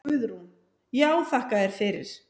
Guðrún: Já þakka þér fyrir.